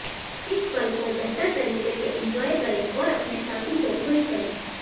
इस पल को बेहतर तरीक से इंजॉय करें और अपने साथी को खुश करें